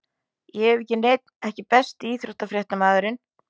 Ég hef ekki neinn EKKI besti íþróttafréttamaðurinn?